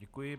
Děkuji.